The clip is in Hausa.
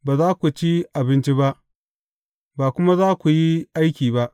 Ba za ku ci abinci ba, ba kuma za ku yi aiki ba.